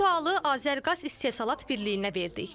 Bu sualı Azərqaz istehsalat birliyinə verdik.